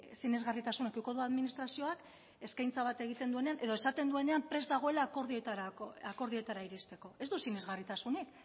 sinesgarritasun izango du administrazioak eskaintza bat egiten duenean edo esaten duenean prest dagoela akordioetara iristeko ez du sinesgarritasunik